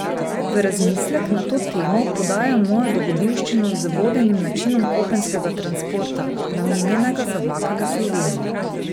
V razmislek na to temo podajam mojo dogodivščino z vodenim načinom kopenskega transporta, namenjenega za vlake v Sloveniji.